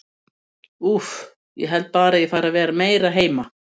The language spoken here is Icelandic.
Úff, ég held bara að ég fari að vera meira heima.